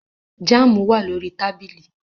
Jam wa lori tabili